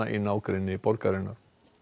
í nágrenni borgarinnar